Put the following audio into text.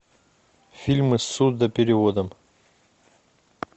фильмы с сурдопереводом